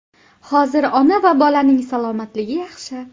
Hozir ona va bolaning salomatligi yaxshi.